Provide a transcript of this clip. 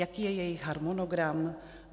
Jaký je jejich harmonogram?